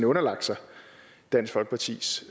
underlagt sig dansk folkepartis